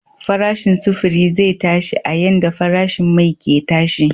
Farashin sufuri zai tashi a yanda farashin mai ke tashi.